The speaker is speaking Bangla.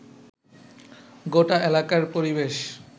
গোটা এলাকার পরিবেশ